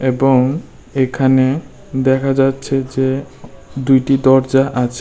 এবং এখানে দেখা যাচ্ছে যে দুইটি দরজা আছে।